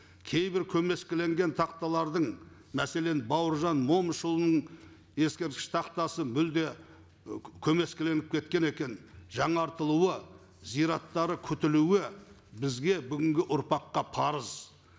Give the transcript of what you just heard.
кейбір көмескіленген тақталардың мәселен бауыржан момышұлының ескерткіш тақтасы мүлде і көмескіленіп кеткен екен жаңартылуы зираттары күтілуі бізге бүгінгі ұрпаққа парыз